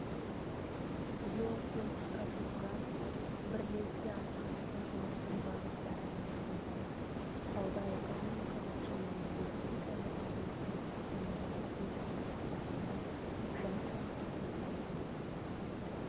георгиос катругалос бірлесе атқаратын жұмыстың бағыттарын айқындап сауда-экономикалық және инвестициялық ынтымақтастықты нығайту тақырыптарына жан-жақты тоқталды